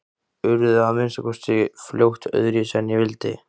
Urðu að minnsta kosti fljótt öðruvísi en ég vildi.